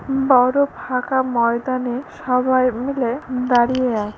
বড়ো ফাঁকা ময়দানে সবাই মিলে দাঁড়িয়ে আ--